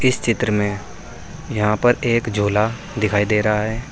इस चित्र में यहां पर एक झोला दिखाई दे रहा है।